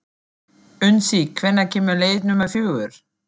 Unnsi, hvenær kemur leið númer fjögur?